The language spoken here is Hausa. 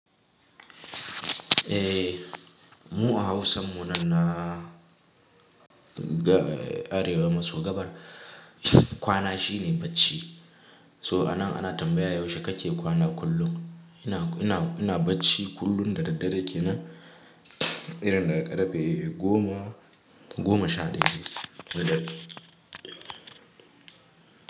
Eh, mu a Hausa mu nan na a Arewa masu gabar kwana shi ne bacci. So ana tambaya yaushe kake kwana kullum? Ina bar=cci kullum da daddare kenan, irin daga karfe goma goma sha ɗaya na dare.